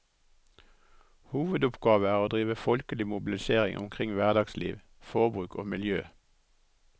Hovedoppgave er å drive folkelig mobilisering omkring hverdagsliv, forbruk og miljø.